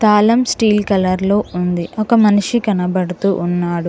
తాళం steel colour లో ఉంది ఒక మనిషి కనబడుతూ ఉన్నాడు.